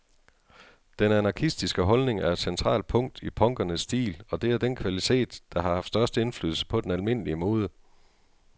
Den anarkistiske holdning er et centralt punkt i punkernes stil, og det er den kvalitet, der har haft størst indflydelse på den almindelige mode.